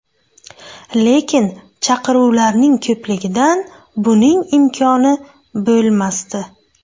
Lekin chaqiruvlarning ko‘pligidan buning imkoni bo‘lmasdi.